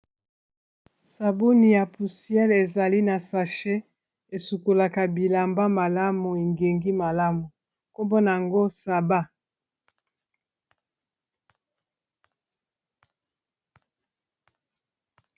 Sabuni ya puciel ezali na sache esukolaka bilamba malamu engengi malamu nkombo nango saba.